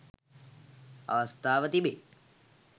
අවස්ථාව තිබේ.